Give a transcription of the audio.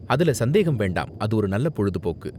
அதுல சந்தேகமே வேண்டாம், அது ஒரு நல்ல பொழுதுபோக்கு.